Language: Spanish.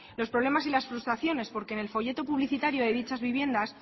los problemas y las frustraciones porque en el folleto publicitario de dichas viviendas